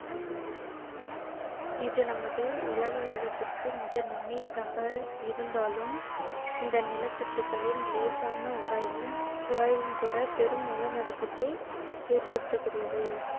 இது நமது உலக வேகத்திற்கு மிக நுண்ணியதாக இருந்தாலும் இந்த நிலத்தட்டுக்களின் இலேசான உராய்வும் உராய்வும் கூட பெரும் நிலநடுக்கத்தை ஏற்படுத்தக்கூடியவை